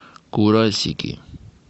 курасики